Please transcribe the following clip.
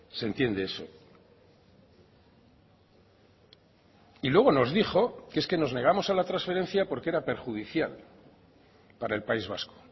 se entiende eso y luego nos dijo que es que nos negamos a la transferencia porque era perjudicial para el país vasco